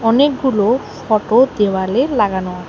অনেকগুলো ফটো দেওয়ালে লাগানো আ--